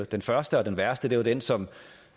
den første og den værste var den som